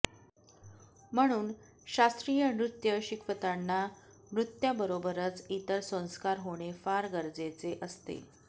म्हणून शास्त्रीय नृत्य शिकवताना नृत्याबरोबरच इतर संस्कार होणे फार गरजेचे असते